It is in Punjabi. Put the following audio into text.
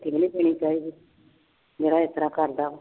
ਰੋਟੀ ਨੀ ਦੇਣੀ ਚਾਹੀਦੀ, ਜਿਹੜਾ ਇਸ ਤਰ੍ਹਾਂ ਕਰਦਾ